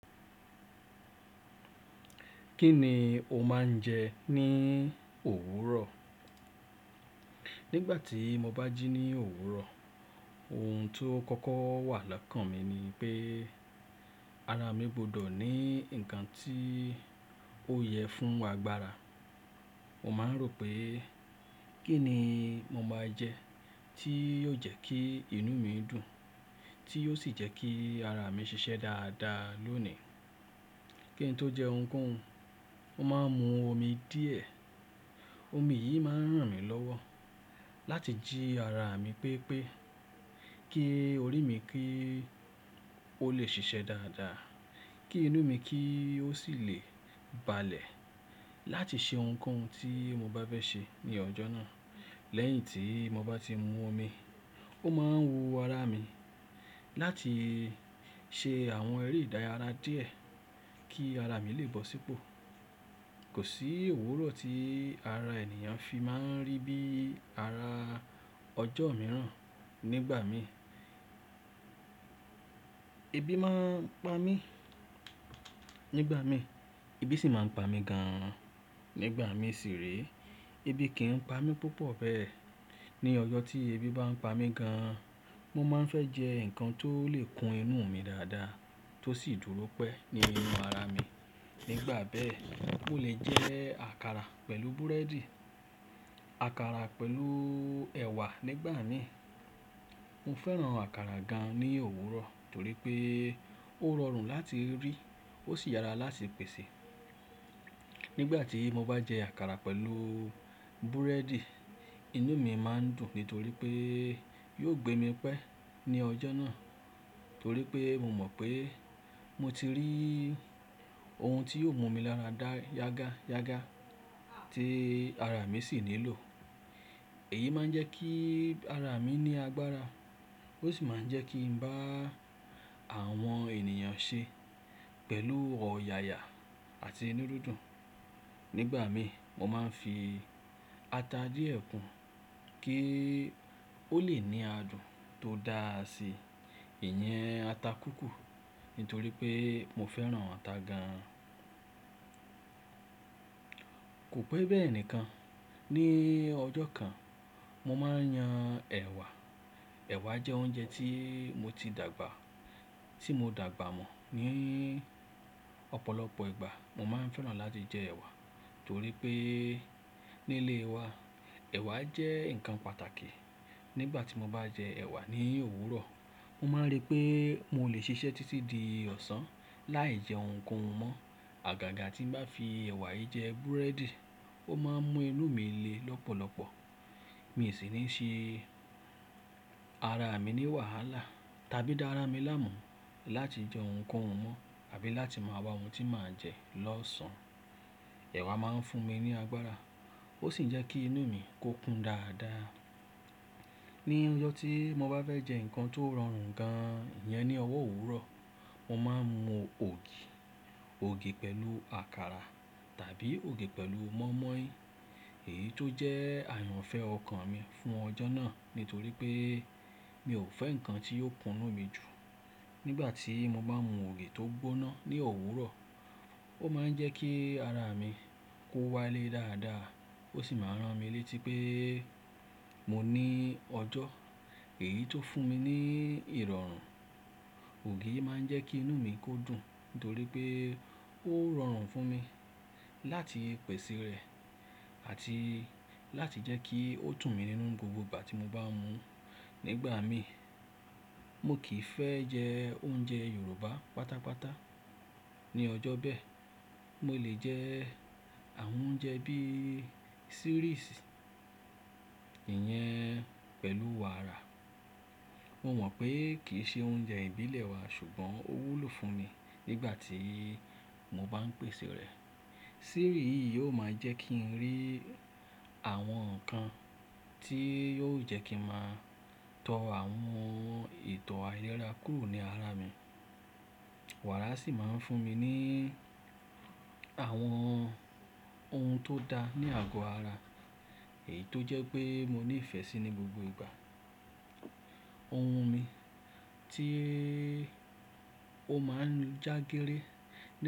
Kí ni o máa ń jẹ ní òwúrọ̀? Nígbà tí mo bá jí ní òwúrọ̀, ohun ti ó kọ́kọ́ wà lọ́kàn mi ni pé ara mi gbọ́dọ̀ ní nǹkan tí ó yẹ fún agbára. Mo máa ń rò pé kí ni mo máa jẹ tí yóò jẹ́ kí inú mi dùn, tí yóò sì jẹ́ kí ara mi ṣiṣẹ́ dáadáa lónìí. Kí n tó jẹ ohunkóhun, mo máa ń mu omi díẹ̀. Omi yìí máa ń ràn mí lọ́wọ́ láti jí ara mi pépé, kí orí mi kí ó le ṣiṣẹ́ dáadáa, kí inú mi kí ó sì lè balẹ̀ láti ṣe ohunkóhun tí mo bá fẹ́ ṣe ní ọjọ́ náà. Lẹ́yìn tí mo bá ti mu omi, ó máa ń wu ara mi láti ṣe àwọn eré ìdárayá díẹ̀ kí ara mi lè bọ́ sípò. Kò sí òwúrọ̀ tí ara ènìyàn fi máa ń rí bí ara ọjọ́ mìíràn. Nígbà mi, ebi máa ń pa mí. Nígbà mi, ebi sì máa ń pa mí gan-an. Nígbà mi sì rèé, ebi kì n pa mí púpọ̀ bẹ́ẹ̀. Ni ọjọ́ tí ebi bá ń pa mí gan-an, mo máa ń fẹ́ jẹ nǹkan tó lè kun inú mi dáadáa tó sì dúró pẹ́ ní inú ara mi. Nígbà bẹ́ẹ̀, mo lè jẹ àkàrà pẹ̀lú búrẹ́dì, àkàrà pẹ̀lú ẹ̀wà nígbà mii. Mo fẹ́ràn àkàrà gan-an ní òwúrọ̀ torí pé ó rọrùn láti rí ó sì yàrá láti pèsè. Nígbà tí mo bá jẹ àkàrà pẹ̀lú búrẹ́dì, inú mi máa ń dùn nítorí pé yóò gbé mi pẹ́ ní ọjọ́ náà. Torí pé mo mọ̀ pé mo ti rí ohun tí yóò mú mi lára dá yágá yágá tí ara mi sì nílò. Èyí máa ń jẹ́ kí ara mi ní agbára. Ó sì máa ń jẹ́ kí n bá àwọn ènìyàn ṣe pẹ̀lú ọ̀yàyà àti inú dúndún. Nígbà mi, mo máa ń fi ata díẹ̀ kún kí ó lè ní adùn tó dáàsí. Ìyẹn ata kúkù nítorí pé mo fẹ́ràn ata gan-an. Kò pẹ́ bẹ́ẹ̀ nìkan, ní ọjọ́ kan mo máa ń yan ẹ̀wà. Ẹ̀wà jẹ́ oúnjẹ tí mo ti dàgbà, tí mo dàgbà mọ̀. Ni ọ̀pọ̀lọpọ̀ ìgbà mo máa ń fẹ́ràn láti jẹ ẹ̀wà torí pé nílé wa ẹ̀wà jẹ́ nǹkan pàtàkì. Nígbà tí mo bá jẹ ẹ̀wà ní òwúrọ̀, mo máa ń rí pé mo lè ṣiṣẹ́ títí di ọ̀sán láì jẹ ohunkóhun mọ́. Àgàgà tí ń bá fi ẹ̀wà yìí jẹ búrẹ́dì, ó máa ń mú inú mi le lọ́pọ̀lọpọ̀. Mi sì ní ṣe ara mi ní wàhálà tàbí dára mi láàmú láti jẹ ohunkóhun mọ́ àbí láti máa wa ohun tí màá jẹ lọ́sàn-án. Ẹ̀wà máa ń fún mi ní agbára ó sì ń jẹ́ kí inú mi kó kún dáadáa. Ni ọjọ́ tí mo bá fẹ́ jẹ nǹkan tó rọrùn gan-an, ìyẹn ni ọwọ́ òwúrọ̀. Mo máa ń mu ògì, ògì pẹ̀lú àkàrà tàbí ògì pẹ̀lú mọ́ímọ́í. Èyí tó jẹ́ àyànfẹ́ ọkàn mi fún ọjọ́ náà nítorí pé mi ò fẹ́ nǹkan tí yóò kunú mi jù. Nígbà tí mo bá n mú ògì tó gbóná ní òwúrọ̀, ó máa ń jẹ́ kí ara mi kó wálé dáadáa ó sì máa ń ràn mí létí pé mo ní ọjọ́. Èyí tó fún mi ní ìrọ̀rùn. Ògì yìí máa ń jẹ́ kí inú mi kó dùn nítorí pé ó rọrùn fún mi láti pèsè rẹ̀ àti láti jẹ́ kí ó dùn mi nínú n gbogbo ìgbà tí mo bá ń mu. Nígbà mi, mo kì í fẹ́ jẹ oúnjẹ Yorùbá pátápátá. Ni ọjọ́ bẹ́ẹ̀, mo lè jẹ àwọn oúnjẹ bí i series, ìyẹn pẹ̀lú wàrà. Mo mọ̀ pé kì í ṣe oúnjẹ ìbílẹ̀ wa ṣùgbọ́n ó wúlò fún mi nígbà tí mo bá ń pèsè rẹ̀. Series yìí yóò máa jẹ́ kí n rí àwọn nǹkan tí yóò jẹ́ kí n màá tọ àwọn ìtọ̀ ayẹra kúrò ní ara mi. Wàrà sì máa ń fún mi ní àwọn ohun tó da ní àgọ́ ara èyí tó jẹ́ pé mo ní ìfẹ́ sí ní gbogbo ìgbà. Ohun mi tí ó máa ń jágéré nígb.